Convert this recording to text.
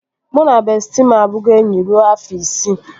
Mụ na bestịị m abugo enyi rue afọ isii